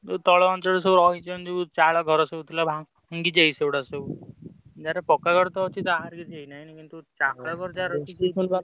ଯୋଉ ତଳ ଅଞ୍ଚଳେ ସବୁ ରହିଛନ୍ତି ଯୋଉ ଚାଳ ଘର ସବୁ ଥିଲା ଭାଙ୍ଗି ଯାଇଛି ସେଗୁଡା ସବୁ। ଯାହାର ପକ୍କା ଘର ତ ଅଛି ତାର କିଛି ହେଇନାହିଁ କିନ୍ତୁ ଚାଳ ଘର ଯାହାର ।